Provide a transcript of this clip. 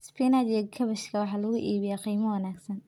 Spinach iyo Kaabashka waxaa lagu iibiyaa qiimo wanaagsan.